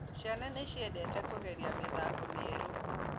Ciana nĩciendete kũgeria mĩthako mĩerũ